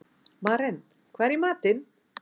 Maren, hvað er í matinn?